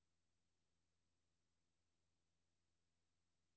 Nu var alle opmærksomme på, at der foregik noget usædvanligt.